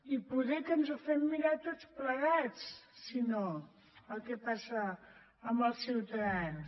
i poder que ens ho fem mirar tots plegats si no el que passa amb els ciutadans